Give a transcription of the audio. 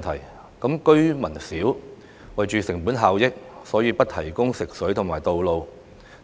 如果居民少，因為成本效益而不提供食水和道路，